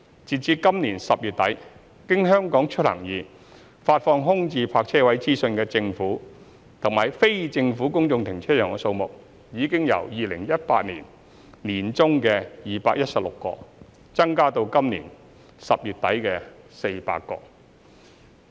截至今年10月底，經"香港出行易"發放空置泊車位資訊的政府及非政府公眾停車場數目，已由2018年年中的216個增加至今年10月底的400個。